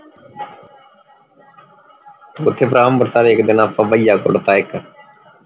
ਓਥੇ ਭਰਾ ਅੰਬਰਸਰ ਇਕ ਦਿਨ ਆਪਾਂ ਭਇਆ ਕੁੱਟ ਤਾ ਇਕ